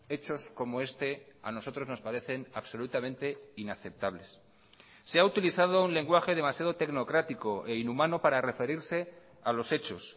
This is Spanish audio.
hechos como este a nosotros nos parecen absolutamente inaceptables se ha utilizado un lenguaje demasiado tecnocrático e inhumano para referirse a los hechos